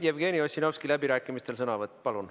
Jevgeni Ossinovski, sõnavõtt läbirääkimistel, palun!